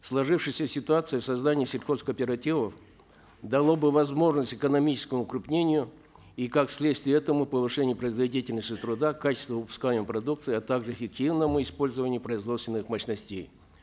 в сложившейся ситуации создание сельхозкооперативов дало бы возможность экономическому укрупнению и как следствие этому повышение производительности труда качества выпускаемой продукции а также эффективному использованию производственных мощностей